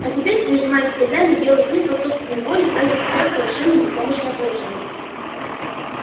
а теперь прижимаясь к хозяину белый клык по собственной воле ставил себя в совершенно беспомощное положение